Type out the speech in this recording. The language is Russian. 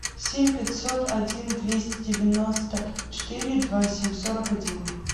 семь пятьсот один двести девяносто четыре два семь сорок один